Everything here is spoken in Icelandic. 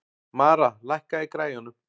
Mara, lækkaðu í græjunum.